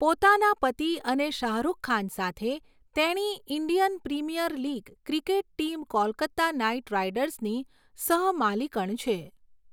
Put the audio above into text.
પોતાના પતિ અને શાહરૂખ ખાન સાથે, તેણી Indian Premier League cricket team Kolkata Knight રાઇડર્સની સહ માલિકણ છે.